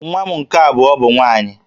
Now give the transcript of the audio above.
Nwa m nke abụọ bụ nwaanyị